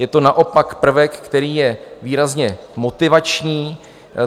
Je to naopak prvek, který je výrazně motivační.